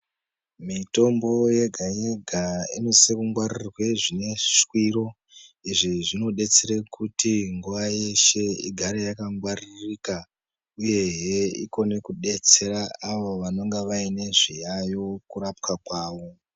Mitombo yega-yega inosise kungwaririrwe zvineshwiro, izvi zvinodetsere kuti nguwa yeshe igare yakangwaririka. Uyehe ikone kudetsera avo vanenge vaine zviyayo kurapwa kwawo.